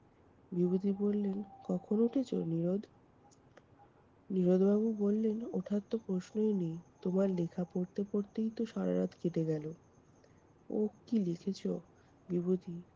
বিভূতি বললেন কখন উঠেছ নীরোদ? নীরোদবাবু বললেন- উঠার তো প্রশ্নই নেই, তোমার লেখা পড়তে পড়তেই তো সারারাত কেটে গেলো। ওহ কী লিখেছ বিভূতি!